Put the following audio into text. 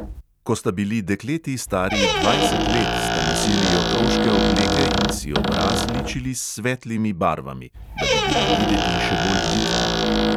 Ko sta bili dekleti stari dvajset let, sta nosili otroške obleke in si obraz ličili s svetlimi barvami, da bi bili videti še bolj vitki.